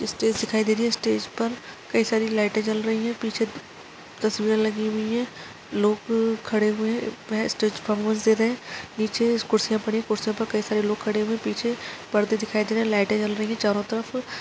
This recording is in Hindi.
स्टेज दिखाई दे रही है स्टेज पर कई सारी लाइटें जल रही है पीछे तस्वीरें लगी हुई है लोग खड़े हुए बेस्ट पफोमेन्स दे रहे है नीचे से कुर्सी पड़ी कई सारे लोग खड़े हुए पीछे पर्दे दिखाई दे रहे है लाइटे जल रहे चारों तरफ़--